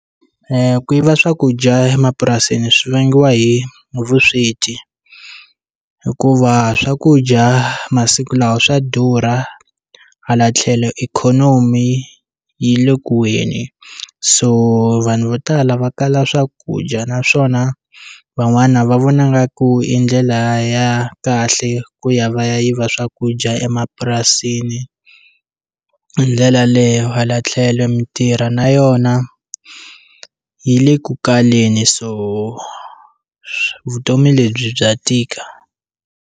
Ku yiva swakudya emapurasini swi vangiwa hi hi vusweti hikuva swakudya masiku lawa swa durha hala tlhelo ikhonomi yi le kuweni so vanhu vo tala va kala swakudya naswona van'wana va vona ngaku i ndlela ya kahle ku ya va ya yiva swakudya emapurasini hi ndlela leyo hala tlhelo mitirho na yona yi le ku kaleni so vutomi lebyi bya tika.